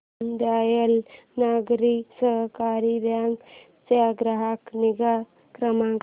दीनदयाल नागरी सहकारी बँक चा ग्राहक निगा क्रमांक